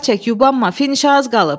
Avar çək, yubanma, finişə az qalıb.